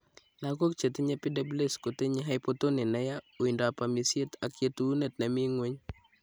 Lagok chetinye PWS kotinye hypotoni neyaa ,uindab amisiet ak yetuneet nemii ng'weny